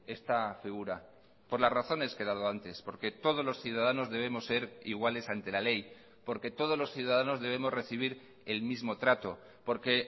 esta figura por las razones que he dado antes porque todos los ciudadanos debemos ser iguales ante la ley porque todos los ciudadanos debemos recibir el mismo trato porque